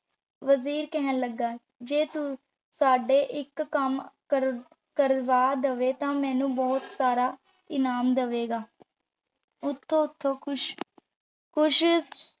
ਵਜ਼ੀਰ ਕਹਿਣ ਲੱਗਾ, ਜੇ ਤੂੰ ਸਾਡੇ ਇੱਕ ਕੰਮ ਕਰ ਕਰਵਾ ਦੇਵੇਂ ਤਾਂ ਮੈਂਨੂੰ ਬਹੁਤ ਸਾਰਾ ਇਨਾਮ ਦੇਵਾਂਗੇ। ਉੱਤੋਂ-ਉੱਤੋਂ ਖ਼ੁਸ਼